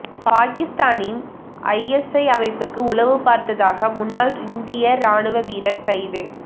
பாகிஸ்தானின் ஐஎஸ்ஐ அமைப்புக்கு உளவுப்பார்த்ததாக முன்னாள் இந்திய ராணுவ வீரர் கைது